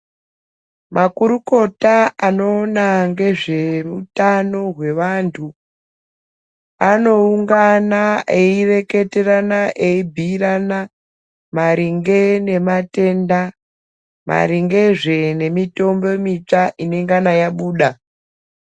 Makurukota anoona ngezveutano hwevantu ,anoungana ,eireketerana, eibhiirana maringe nematenda, maringezve nemitombo mitsva inengana yabuda.